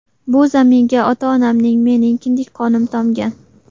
Bu zaminga ota-onamning, mening kindik qonim tomgan.